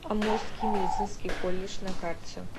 амурский медицинский колледж на карте